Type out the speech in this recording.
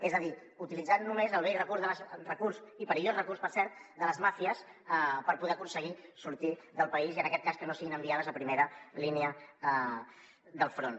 és a dir utilitzant només el vell i perillós recurs per cert de les màfies per poder aconseguir sortir del país i en aquest cas que no siguin enviades a primera línia del front